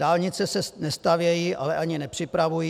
Dálnice se nestavějí, ale ani nepřipravují.